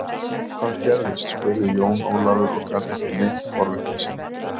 Hvað gerðist spurði Jón Ólafur og gat ekki leynt forvitni sinni.